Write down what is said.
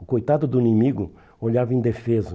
O coitado do inimigo olhava indefeso.